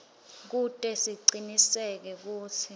kute sicinisekise kutsi